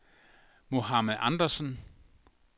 Mohamed Andersson